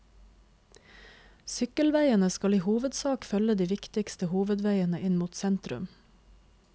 Sykkelveiene skal i hovedsak følge de viktigste hovedveiene inn mot sentrum.